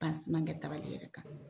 kɛ yɛrɛ kan.